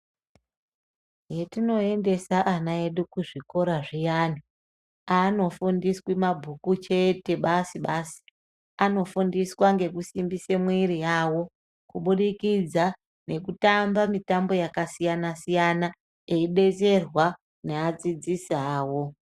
Hetinoendesa ana edu kuzvikora zviyani aanofundiswi mabhuku chete basi basi anofundiswa ngekusimbisa mwiri yao kubudikidza ngekutamba mitambo yakasiyana siyana eidetserwa neadzidzisi awo.